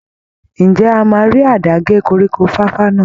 Ǹjẹ́ a máa rí àdá gé koríko fàfà náà?